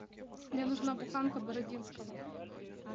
мне нужна буханка бородинского